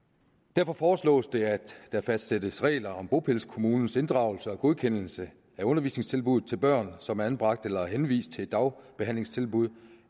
derfor foreslås det at der fastsættes regler om bopælskommunens inddragelse og godkendelse af undervisningstilbud til børn som er anbragt eller henvist til dagbehandlingstilbud